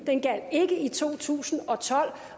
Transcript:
og i to tusind og tolv